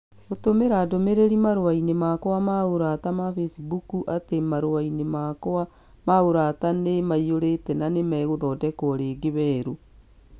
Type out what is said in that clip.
gũtũmĩra ndũmĩrĩri marũa-inĩ makwa ma ũrata ma Facebook atĩ marũa-inĩ makwa ma ũrata nĩ maiyũrĩte na nĩ magaathondekwo rĩngĩ weru